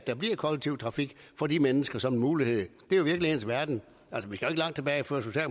der bliver kollektiv trafik for de mennesker som en mulighed det er jo virkelighedens verden altså